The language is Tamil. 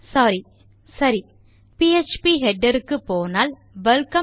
சோரி சரி பிஎச்பி ஹெடர் க்கு போனால் வெல்கம்